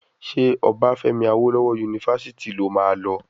Ṣé Obafemi awolowo yunifásítì lo máa lọ?